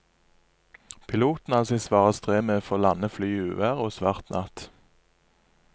Piloten hadde sitt svare strev med å få landet flyet i uvær og svart natt.